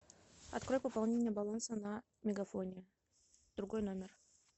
открой пополнение баланса на мегафоне другой номер